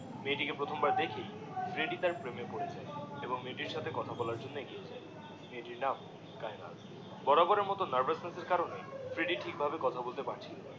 মেয়েটাকে প্রথম বার দেখেই ফ্রেড্ডি তার প্রেমে পরে যায় এবং মেয়েটির সাথে কথা বলার জন্যে এগিয়ে যায় মেয়েটির নাম কায়েনাথ বরাবরের নার্ভাসনেস এর কারণে ফ্রেড্ডি ঠিক ভাবে কথা বলতে পারছিলোনা